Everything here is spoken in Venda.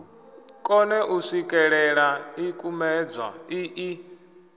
kone u swikelela ḽikumedzwa iḽi